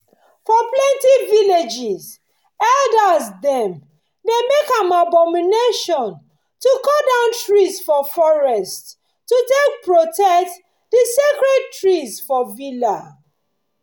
for plenty villages elders dem dey make am abomination to cut down trees for forests to take protect the sacred trees for villa